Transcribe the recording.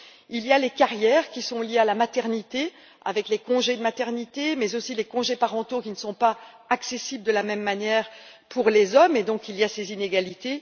il y a les carrières, qui sont liées à la maternité avec les congés de maternité, mais également les congés parentaux qui ne sont pas accessibles de la même manière pour les hommes, et il y a donc ces inégalités.